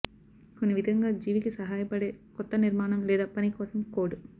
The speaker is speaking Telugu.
కొన్ని విధంగా జీవికి సహాయపడే కొత్త నిర్మాణం లేదా పని కోసం కోడ్